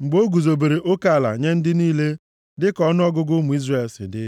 mgbe o guzobere oke ala nye ndị niile dịka ọnụọgụgụ ụmụ Izrel si dị.